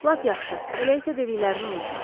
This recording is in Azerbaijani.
Lap yaxşı, elə isə dediyini unutma.